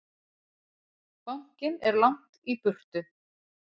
Bankinn er langt í burtu.